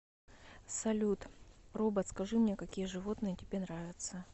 салют робот скажи мне какие животные тебе нравятся